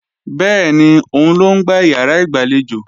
Bẹ́ẹ̀ni, òun ló ń gbá ìyàrá ìgbàlejò